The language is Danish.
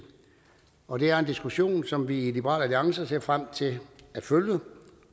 og det er en diskussion som vi i liberal alliance ser frem til at følge